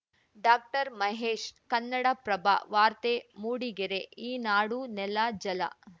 ಡಾಕ್ಟರ್ಮಹೇಶ್‌ ಕನ್ನಡಪ್ರಭ ವಾರ್ತೆ ಮೂಡಿಗೆರೆ ಈ ನಾಡು ನೆಲ ಜಲ